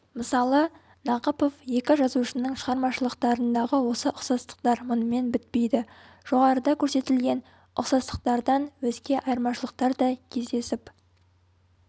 мысалы нақыпов екі жазушының шығармашылықтарындағы осы ұқсастықтар мұнымен бітпейді жоғарыда көрсетілген ұқсастықтардан өзге айырмашылықтар да кездесіп